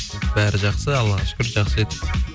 бәрі жақсы аллаға шүкір жақсы жеттік